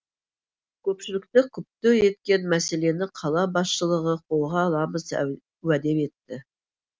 көпшілікті күпті еткен мәселені қала басшылығы қолға аламыз уәде етті